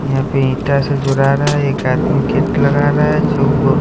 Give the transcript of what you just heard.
यहाँ पे ईठसे जुड़ा रहा है एक आदमी खिड़की लगा रहा है जो --